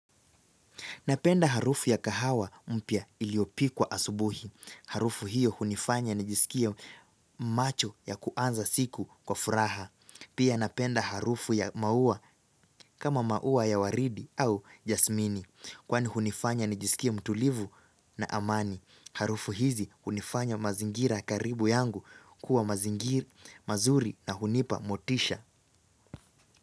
Napenda harufu ya kahawa mpya iliyopikwa asubuhi. Harufu hiyo hunifanya nijisikie macho ya kuanza siku kwa furaha. Pia napenda harufu ya maua kama maua ya waridi au jasmini. Kwani hunifanya nijisikie mtulivu na amani. Harufu hizi hunifanya mazingira karibu yangu kuwa mazingira mazuri na hunipa motisha.